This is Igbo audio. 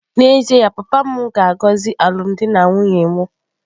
N'ezie ya, papa m ga-agọzi alụmdi na nwunye m.